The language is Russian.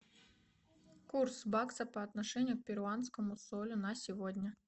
курс бакса по отношению к перуанскому солю на сегодня